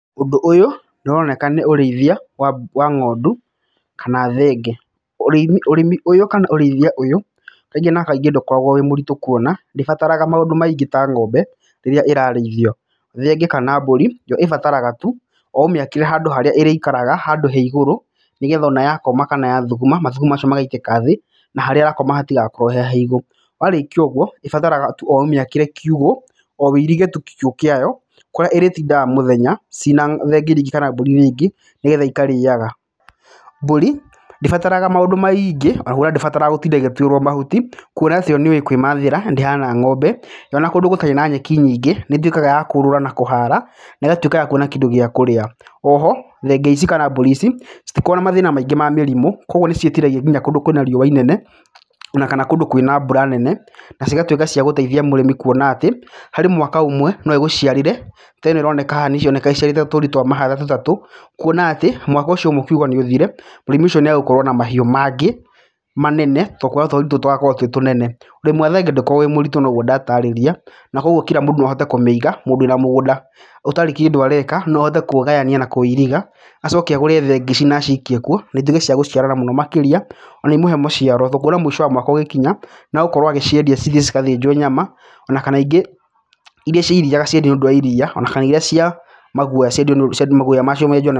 Ũndũ ũyũ nĩ ũroneka nĩ ũrĩithia wa ng'ondu kana thenge. Ũrĩmi ũyũ kana ũrĩithia ũyũ, kaingĩ na kaingĩ ndũkoragwo wĩ mũritũ kuona ndĩbataraga maũndũ maingĩ ta ng'ombe rĩrĩa ĩrarĩithio. Thenge kana mbũri yo ĩbataraga tu o ũmĩakĩre handũ harĩa ĩrĩikaraga handũ he igũrũ, nĩgetha ona yakoma kana yathuguma mathugumo macio magaitĩka thĩ, na harĩa ĩrakoma hatigakorwo he haigũ. Warĩkia ũguo ĩbataraga tu o ũmĩakĩre kiugũ, o uirige tu kiugũ kĩayo kũrĩa ĩrĩtindaga mũthenya cina thenge irĩa ingĩ kana mbũri irĩa ingĩ, nĩgetha ikarĩaga. Mbũri ndĩbataraga maũndũ maingĩ ndĩbataraga gũtinda ĩgĩtwĩrwo mahuti, kuona atĩ yo nĩ yũĩ kwĩmathĩra ndĩhana ng'ombe. Yo ona kũndũ gũtarĩ na nyeki nyingĩ nĩ ĩtuĩkaga ya kũũrũra na kũhara na ĩgatuĩka ya kuona kĩndũ gĩa kũrĩa. O ho thenge ici kana mbũrĩ ici, citikoragwo na mathĩna maingĩ ma mĩrimũ koguo nĩ ciĩtiragia nginya kũndũ kwĩna riũa inene ona kana kũndũ kwĩna mbura nene. Na cigatuĩka cia gũteithia mũrĩmi kuona atĩ, harĩ mwaka ũmwe no ĩgũciarĩre. Ta ĩno ĩroneka haha nĩĩroneka ĩciarĩte tũri twa mahatha tũtatũ, kuona atĩ mwaka ũcio ũmwe ũkiuga nĩ ũthire, mũrĩmi ũcio nĩ egũkorwo na mahiũ mangĩ manene, tondũ kwahota tũrĩ tũtũ tũgakorwo twĩ tũnene. Ũrĩmi wa thenge ndũkoragwo wĩ mũritũ noguo ndataarĩrĩa na koguo kila mũndũ no ahote kũmĩiga. Mũndũ wĩna mũgũnda ũtarĩ kĩndũ areka, no ahote kũũgayania na kũũiriga. Acoke agũre thenge ici na acikie kuo na ituĩke cia gũciarana mũno makĩria ona imũhe maciaro. Kuona mũico wa mwaka ũgĩkinya nĩ egũkorwo agĩciendia cithiĩ cigathĩnjwo nyama, ona kana ingĩ irĩa cia iria agaciendia nĩ ũndũ wa iria, ona kana irĩa cia maguoya ciendio maguoya macio menjwo na...